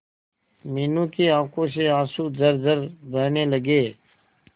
मीनू की आंखों से आंसू झरझर बहने लगे